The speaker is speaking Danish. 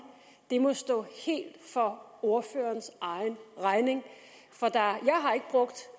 må stå helt for ordførerens egen regning